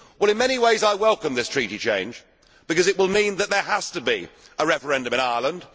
Well, in many ways I welcome this treaty change because it will mean that there has to be a referendum in Ireland.